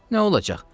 Nə olacaq?